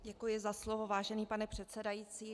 Děkuji za slovo, vážený pane předsedající.